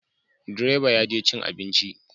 Direba ya je cin abinci